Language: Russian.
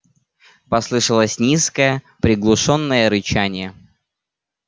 послышалось низкое приглушённое рычание